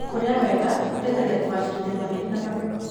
Kũrĩa wega gũteithagia kũgacĩrithia mahĩndĩ ma magego.